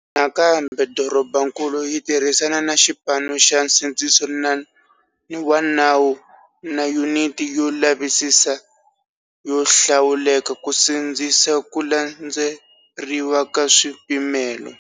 Nakambe dorobankulu ri tirhisana na xipano xa nsindziso wa nawu na Yuniti yo Lavisisa yo Hlawuleka ku sindzisa ku landzeriwa ka swipimelo.